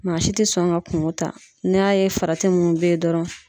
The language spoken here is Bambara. Maa si tɛ sɔn ka kungo ta n'i y'a ye farati mun bɛ ye dɔrɔn